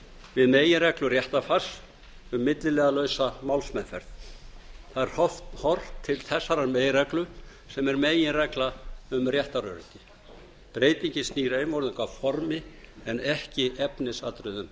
við meginreglur réttarfars um milliliðalausa málsmeðferð það er horft til þessarar meginreglu sem er meginregla um réttaröryggi breytingin snýr einvörðungu að formi en ekki efnisatriðum